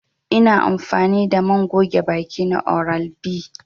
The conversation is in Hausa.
I na amfani da man goge baki na oral B.